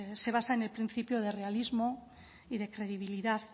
pues se basa en el principio de realismo y de credibilidad